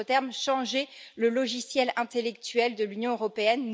En d'autres termes, changer le logiciel intellectuel de l'Union européenne.